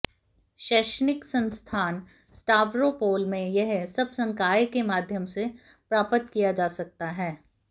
शैक्षणिक संस्थान स्टावरोपोल में यह सब संकाय के माध्यम से प्राप्त किया जा सकता है